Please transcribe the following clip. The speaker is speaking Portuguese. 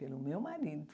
Pelo meu marido.